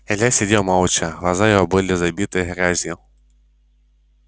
илья сидел молча глаза его были забиты грязью